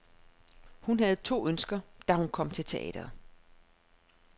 Hun havde to ønsker, da hun kom til teatret.